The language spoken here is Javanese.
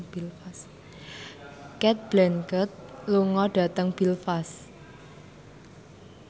Cate Blanchett lunga dhateng Belfast